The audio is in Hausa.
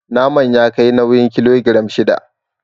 Naman ya kai nauyin kilogiram shida.